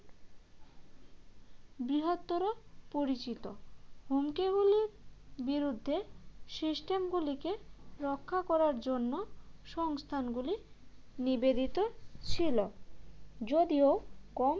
বৃহত্তর পরিচিত হুমকিগুলোর বিরুদ্ধে system গুলিকে রক্ষা করার জন্য সংস্থানগুলি নিবেদিত ছিল যদিও কম